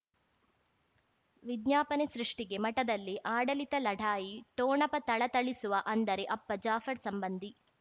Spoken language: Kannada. ವಿಜ್ಞಾಪನೆ ಸೃಷ್ಟಿಗೆ ಮಠದಲ್ಲಿ ಆಡಳಿತ ಲಢಾಯಿ ಠೊಣಪ ಥಳಥಳಿಸುವ ಅಂದರೆ ಅಪ್ಪ ಜಾಫರ್ ಸಂಬಂಧಿ